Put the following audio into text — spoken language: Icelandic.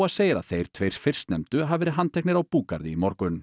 segir að þeir tveir fyrstnefndu hafi verið handteknir á búgarði í morgun